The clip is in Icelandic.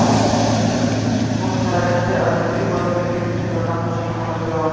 Óskað er eftir að með tilboðinu fylgi upplýsingar um nafn og símanúmer bjóðanda.